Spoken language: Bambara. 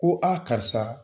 Ko karisa